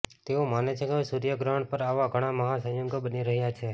તેઓ માને છે કે સૂર્યગ્રહણ પર આવા ઘણા મહા સંયોગો બની રહ્યા છે